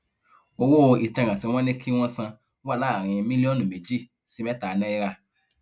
owó ìtanràn tí wọn ní kí wọn san wà láàrin mílíọnù méjì sí mẹta náírà